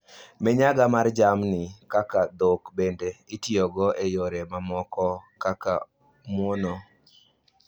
Minyaga mar jamni kaka dhok bende itiyogo e yore mamoko kaka muono